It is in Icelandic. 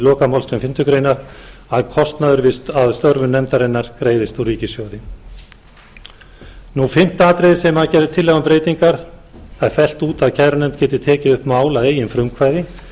lokamálsgrein fimmtu grein að kostnaður af störfum nefndarinnar greiðist úr ríkissjóði fimmta atriðið þar sem gerð er tillaga um breytingar það er fellt út að kærunefnd geti tekið upp mál að eigin frumkvæði